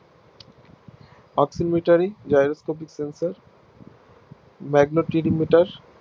Oxidilarity gyroscope sensormagnetic meter